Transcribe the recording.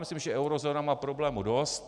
Myslím, že eurozóna má problémů dost.